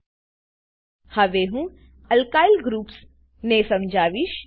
હવે હું alkyl groups alkyl group ને સમજાવીશ